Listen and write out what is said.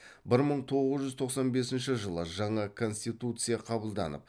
бір мың тоғыз жүз тоқсан бесінші жаңа конституция қабылданып